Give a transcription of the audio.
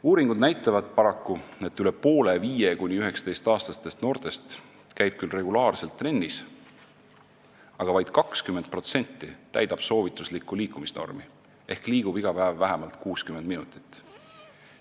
" Uuringud näitavad, et üle poole 5–19-aastastest noortest käib küll regulaarselt trennis, aga paraku vaid 20% täidab soovituslikku liikumisnormi ehk liigub iga päev vähemalt 60 minutit.